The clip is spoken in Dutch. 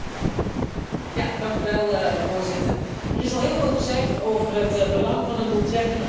Voorzitter, er is al heel veel gezegd over het belang van een doeltreffende grondstoffenstrategie voor Europa.